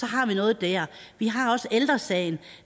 har noget der vi har også ældre sagen